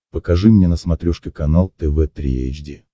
покажи мне на смотрешке канал тв три эйч ди